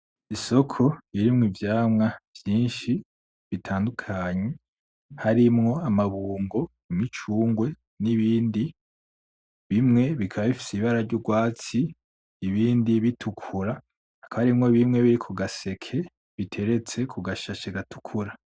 Isoko ririmwo ivyamwa vyinshi bitandukanye harimwo amabungo, imicungwe n'ibindi, bimwe bikaba bifise ibara ry'urwatsi ibindi bitukura, hakaba harimwo bimwe biri ku gaseke biteretse ku gashashe gatukutura.